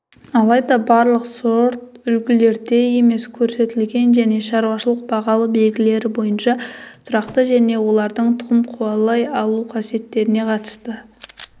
алайда барлық сорт үлгілерде емес көрсетілген және шаруашылық-бағалы белгілері бойынша тұрақты және олардың тұқым қуалай алу қасиеттеріне қатысты